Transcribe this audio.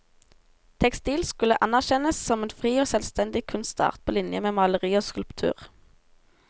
Tekstil skulle anerkjennes som en fri og selvstendig kunstart på linje med maleri og skulptur.